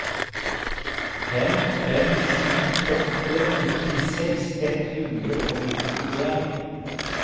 fem fem sju åtte nittiseks ett hundre og nittien